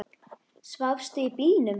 Svafstu í bílnum?